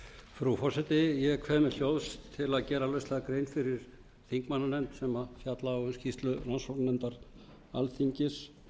frú forseti ég kveð mér hljóðs til að gera lauslega grein fyrir þingmannanefnd sem fjalla á um skýrslu rannsóknarnefndar alþingis